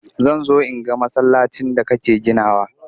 Zan zo in ga masallacin da kake ginawa.